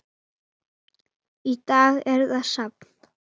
Í dag er það safn.